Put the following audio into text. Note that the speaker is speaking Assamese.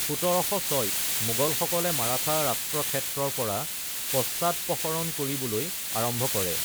১৭০৬-ত মোগলসকলে মাৰাঠা ৰাষ্ট্ৰক্ষেত্ৰৰ পৰা পশ্চাদপসৰণ কৰিবলৈ আৰম্ভ কৰে।